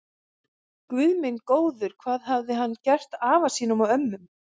Guð minn góður, hvað hafði hann gert afa sínum og ömmu.